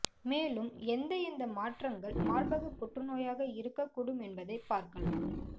மேலும் எந்த எந்த மாற்றங்கள் மார்பக புற்றுநோயாக இருக்க கூடும் என்பதை பார்க்கலாம்